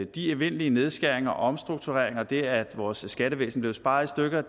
de evindelige nedskæringer og omstruktureringer og det at vores skattevæsen blev sparet i stykker